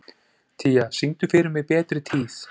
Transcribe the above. Tía, syngdu fyrir mig „Betri tíð“.